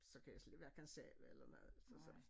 Så kan jeg slet hverken sove eller noget så så